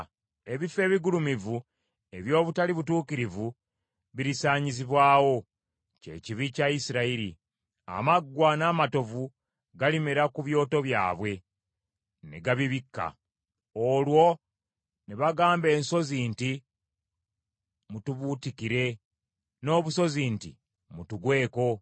Ebifo ebigulumivu eby’obutali butuukirivu birisaanyizibwawo, kye kibi kya Isirayiri. Amaggwa n’amatovu galimera ku byoto byabwe, ne gabibikka. Olwo ne bagamba ensozi nti, “Mutubuutikire,” n’obusozi nti, “Mutugweko.”